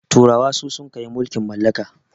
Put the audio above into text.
turawa su suka yi mulkin mallaka